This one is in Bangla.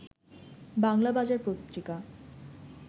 বাংলাবাজার পত্রিকা